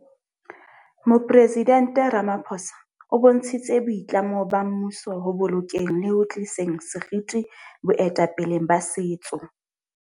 Moporesident Ramapho sa o bontshitse boitlamo ba mmuso ho bolokeng le ho tliseng seriti boetapeleng ba setso.